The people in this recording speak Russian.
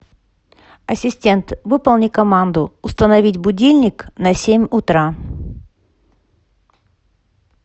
ассистент выполни команду установить будильник на семь утра